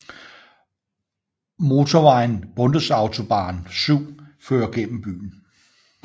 Motorvejen Bundesautobahn 7 fører gennem byen